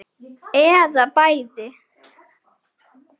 Eða bæði.